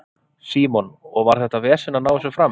Símon: Og var þetta vesen að ná þessu fram?